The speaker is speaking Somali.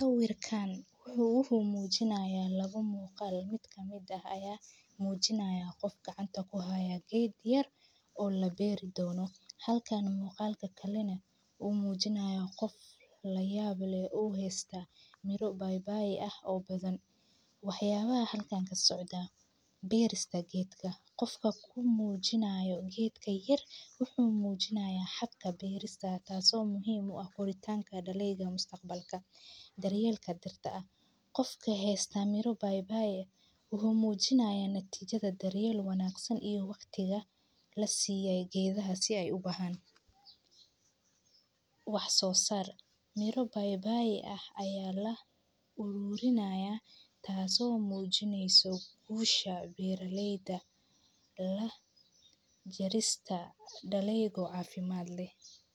Sawirkan wuxuu uhu muujinaya labo muuqaal. Mid ka mida ayaa muujinaya qofka gacantanku haya geed yar oo la beeri doono. Halkaan muuqaalka kallina uu muujinaya qof la yaab leh uu heestaa miro bay-bay ah oo badan. Waheyaba halkaan kasocda beerista geedka. Qofka ku muujinayo geedka yar wuxuu muujinaya xagga beerista taaso muhiimu ah horitaanka dhaliga mustaqbalka. Daryeelka dirta ah. Qofka heestaa miro bay-bay uhu muujinaya natiijada daryeelu wanaagsan iyo waqtiga la siiyay geedaha si ay u buhaan. Wax soo sar. Miro bay-bay ah ayaa la uruurinaya taaso muujinayso guusha beeraleyda la jarista dhaliga afiimaad leh.